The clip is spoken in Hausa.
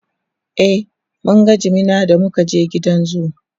e mun ga jimina da muka je gidan zoo